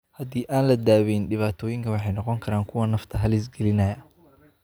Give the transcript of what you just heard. Haddii aan la daweyn, dhibaatooyinkan waxay noqon karaan kuwo nafta halis gelinaya.